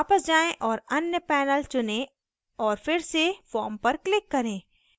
वापस जाएँ औऱ अन्य panel चुनें और फिर से form पर click करें